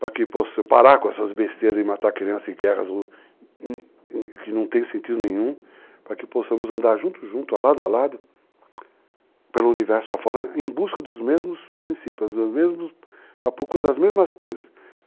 para que possamos parar com essas besteiras de matar crianças em guerras que não têm sentido nenhum, para que possamos andar junto, junto, lado a lado, pelo universo afora, em busca dos mesmos princípios, a procura das mesmas coisas.